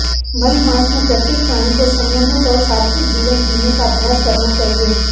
मलमास में प्रत्येक प्राणी को संयमित और सात्विक जीवन जीने का अभ्यास करना चाहिए